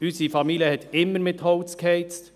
Unsere Familie hat immer mit Holz geheizt.